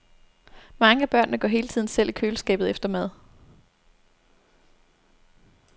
Mange af børnene går hele tiden selv i køleskabet efter mad.